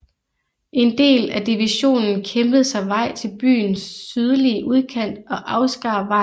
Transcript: En del af divisionen kæmpede sig vej til byens sydlige udkant og afskar vejen til Merefa